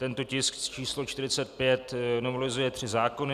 Tento tisk číslo 45 novelizuje tři zákony.